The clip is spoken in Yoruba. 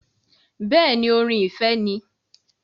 Bẹẹni, orin ìfẹ́ ni